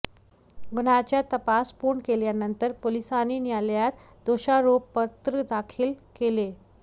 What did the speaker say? गुन्ह्याचा तपास पूर्ण केल्यानंतर पोलिसांनी न्यायालयात दोषारोपपत्र दाखल केले